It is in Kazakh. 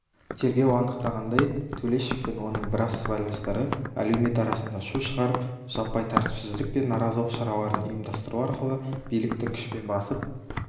тергеу анықтағандай төлешов пен оның біраз сыбайластары әлеумет арасында шу шығарып жаппай тәртіпсіздік пен наразылық шараларын ұйымдастыру арқылы биліктің күшпен басып